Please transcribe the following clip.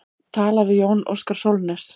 Talað við Jón Óskar Sólnes.